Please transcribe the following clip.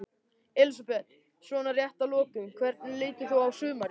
Elísabet: Svona rétt að lokum, hvernig lítur þú á sumarið?